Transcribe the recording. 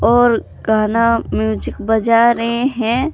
और गाना म्यूजिक बजा रहे हैं।